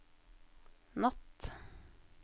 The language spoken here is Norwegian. natt